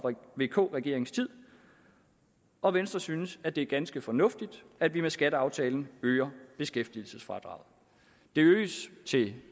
vk regeringens tid og venstre synes at det er ganske fornuftigt at vi med skatteaftalen øger beskæftigelsesfradraget det øges til